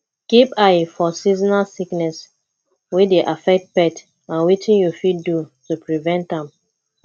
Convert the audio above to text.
keep eye for seasonal sickness wey dey affect pet and wetin you fit do to prevent am